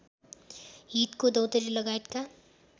हितको दौंतरी लगायतका